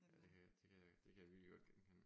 Ja det kan jeg det kan jeg det kan jeg virkelig godt genkende